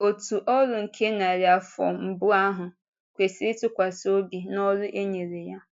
Òtù ọ́rụ nke narị afọ mbụ ahụ kwesịrị ntụkwasị obi n’ọrụ e nyere ya.